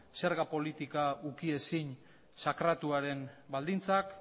zerga politika ukiezin sakratuaren baldintzak